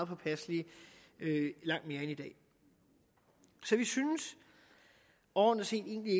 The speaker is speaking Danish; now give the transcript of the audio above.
påpasselige end i dag så vi synes overordnet set egentlig